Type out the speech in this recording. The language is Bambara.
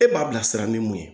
E m'a bilasira ni mun ye